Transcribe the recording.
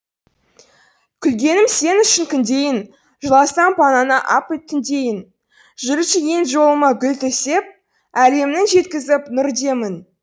күлгенім сен үшін күндейін жыласам панаңа ап түндейін жүруші ең жолыма гүл төсеп әлемнің жеткізіп нұр демін